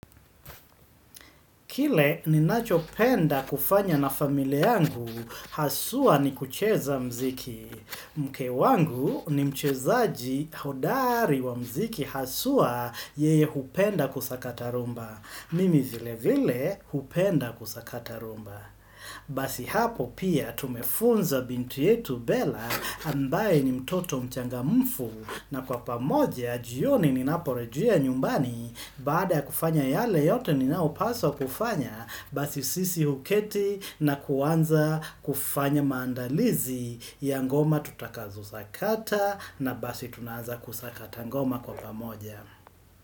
Kile ninacho penda kufanya na familia yangu, haswa ni kucheza mziki. Mke wangu ni mchezaaji hodari wa mziki haswa yeye hupenda kusakatarumba. Mimi vile vile hupenda kusakatarumba. Basi hapo pia tumefunza binti yetu bela ambaye ni mtoto mchangamufu. Na kwa pamoja, jioni ninaporejia nyumbani baada ya kufanya yale yote ninaopaswa kufanya, basi sisi huketi na kuanza kufanya maandalizi ya ngoma tutakazo sakata na basi tunaanza kusakata ngoma kwa pamoja.